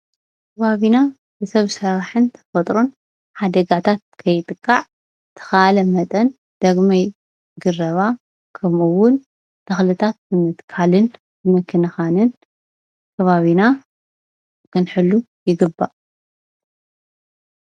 ኣብ ከባቢና ብሰብ ስራሕን ብተፈጥሮን ሓደጋታት ከይጥቃዕ ብዝተከኣለ መጠን ዳግመ ግረባ ከምኡውን ተክልታት ብምትካልን ብምክንካንን ከባቢና ክንሕሉ ይግባእ፡፡